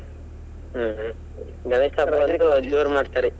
ಹ್ಮ್ ಹ್ಮ್ ಗಣೇಶ ಜೋರ್ ಮಾಡ್ತಾರೆ.